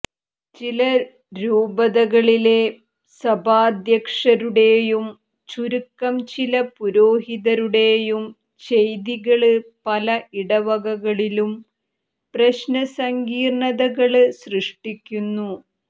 ചില രൂപതകളിലെ സഭാദ്ധ്യക്ഷരുടേയും ചുരുക്കം ചില പുരോഹിതരുടേയും ചെയ്തികള് പല ഇടവകകളിലും പ്രശ്നസങ്കീര്ണതകള് സൃഷ്ടിക്കുന്നു